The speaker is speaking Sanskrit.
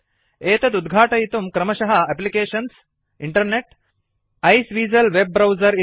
एतदुद्घाटयितुं क्रमशः एप्लिकेशन्सग्टिंटिग्टिसिसेवेसिली वेब ब्राउजर